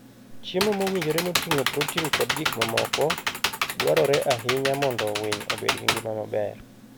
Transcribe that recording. Chiemo mowinjore moting'o protin kod gik mamoko, dwarore ahinya mondo winy obed gi ngima maber.